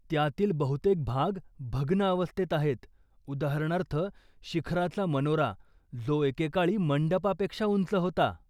त्यातील बहुतेक भाग भग्न अवस्थेत आहेत, उदाहरणार्थ, शिखराचा मनोरा, जो एकेकाळी मंडपापेक्षा उंच होता.